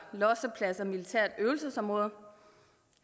losseplads og militært øvelsesområde